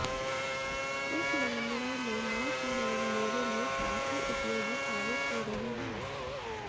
इस मामले में मां की मदद मेरे लिए काफी उपयोगी साबित हो रही है